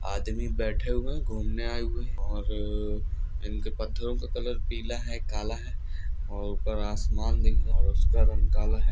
अंदर की तरफ सीमेंट कर रहा है आदमी बैठे हुए घूमने आए हुए हैं और उनके पत्थरों का कलर पीला है कल है और आसमान में और उसका रंग काला है